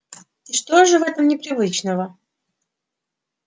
и что же в этом непривычного